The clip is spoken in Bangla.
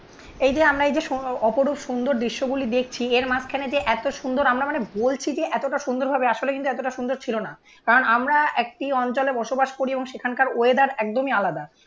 এই যে আমরা এই যে অপরূপ সুন্দর দৃশ্যগুলি দেখছি এর মাঝখানে যে এত সুন্দর আমরা মানে বলছি যে এতটা সুন্দর ভাবে আসলে কিন্তু এতটা সুন্দর ছিল না. কারণ আমরা একটি অঞ্চলে বসবাস করি এবং সেখানকার ওয়েদার একদমই আলাদা